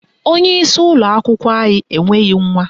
Onyeisi ụlọakwụkwọ anyị enweghị nwa.